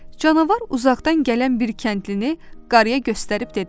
Canavar uzaqdan gələn bir kəndlini qarıya göstərib dedi.